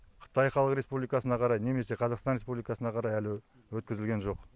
қытай халық республикасына қарай немесе қазақстан республикасына қарай әлі өткізілген жоқ